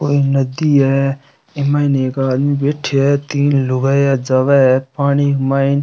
कोई नदी है इ माइन एक आदमी बैठया है तीन लुगाईया जावे है पानी माइन।